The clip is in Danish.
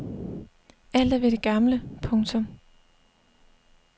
Alt er ved det gamle. punktum